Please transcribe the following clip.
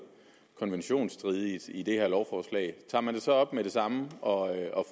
konventionsstridigt i det her lovforslag tager man det så op med det samme og